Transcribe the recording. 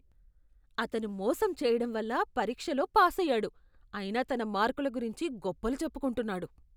అతను మోసం చేయడంవల్ల పరీక్షలో పాసయ్యాడు అయినా తన మార్కుల గురించి గొప్పలు చెప్పుకుంటున్నాడు.